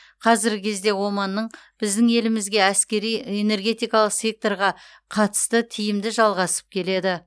қазіргі кезде оманның біздің елімізге әсіресе энергетикалық секторға қатысты тиімді жалғасып келеді